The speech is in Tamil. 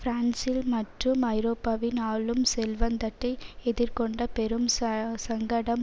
பிரான்சில் மற்றும் ஐரோப்பாவின் ஆளும் செல்வந்தட்டு எதிர்கொண்ட பெரும் ச சங்கடம்